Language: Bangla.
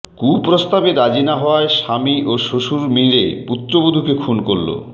কুপ্রস্তাবে রাজি না হওয়ায় স্বামী ও শ্বশুর মিলে পুত্রবধূকে খুন করল